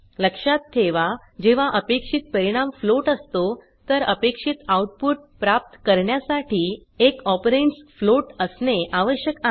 लक्षात ठेवा जेव्हा अपेक्षित परिणाम फ्लोट असतो तर अपेक्षित आउटपुट प्राप्त करण्यासाठी एक ऑपरंड्स फ्लोट असणे आवश्यक आहे